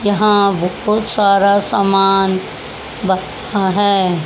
यहां बहुत सारा सामान रखा है।